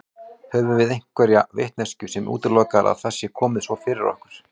Höfum við einhverja vitneskju sem útilokar að það sé svona komið fyrir okkur?